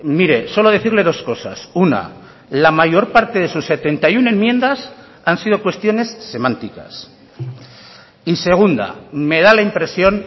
mire solo decirle dos cosas una la mayor parte de sus setenta y uno enmiendas han sido cuestiones semánticas y segunda me da la impresión